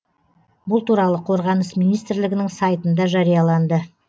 бұл туралы қорғаныс министрлігінің сайтында жарияланды